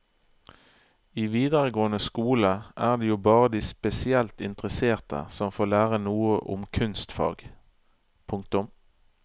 I videregående skole er det jo bare de spesielt interesserte som får lære noe om kunstfag. punktum